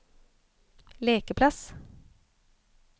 lekeplass